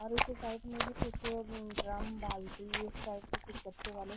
और उस साइड में भी कुछ ड्राम बाल्टी उस टाइप के कुछ गत्ते वाले --